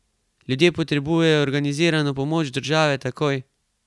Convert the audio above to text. Ljudje potrebujejo organizirano pomoč države takoj!